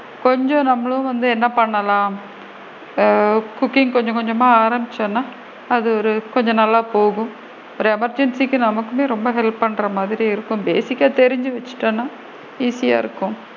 கொஞ்சம் நம்மளும் வந்து என்ன பண்ணலாம் ஆ cooking கொஞ்ச கொஞ்சமா ஆரம்பிச்சோம்னா அது ஒரு கொஞ்சம் நல்லா போகும் ஒரு emergency க்கு நமக்குமே ரொம்ப help பண்ற மாதிரி இருக்கும் basic கா தெரிஞ்சு வச்சிக்கிட்டோம்னா easy யா இருக்கும்.